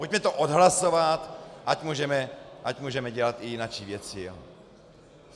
Pojďme to odhlasovat, ať můžeme dělat i jinačí věci.